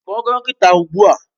Kpọọ dọkịta ugbu a!